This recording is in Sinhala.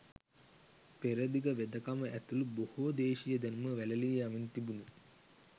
පෙරදිග වෙදකම ඇතුළු බොහෝ දේශීය දැනුම වැළලී යමින් තිබුණි.